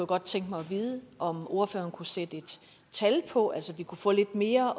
godt tænke mig at vide om ordføreren kunne sætte et tal på altså om vi kunne få lidt mere